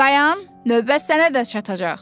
Dayan, növbə sənə də çatacaq.